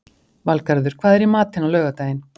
Valgarður, hvað er í matinn á laugardaginn?